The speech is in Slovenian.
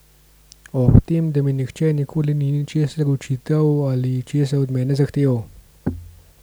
Ob tem, da mi nihče nikoli ni česa očital ali česa od mene zahteval.